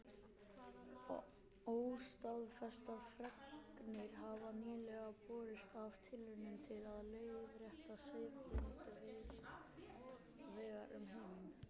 Óstaðfestar fregnir hafa nýlega borist af tilraunum til að leiðrétta siðblindu víðs vegar um heiminn.